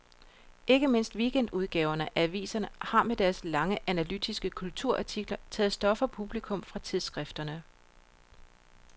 Ikke mindst weekendudgaverne af aviserne har med deres lange analytiske kulturartikler taget stof og publikum fra tidsskrifterne.